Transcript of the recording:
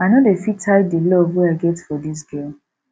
i no dey fit hide di love wey i get for dis girl